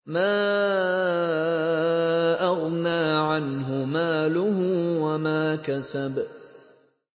مَا أَغْنَىٰ عَنْهُ مَالُهُ وَمَا كَسَبَ